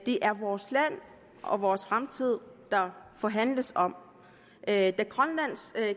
er vores land og vores fremtid der forhandles om da grønlands